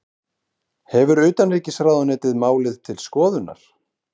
Hefur utanríkisráðuneytið málið til skoðunar